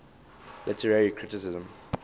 literary criticism